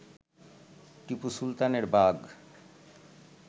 টিপু সুলতানের বাঘ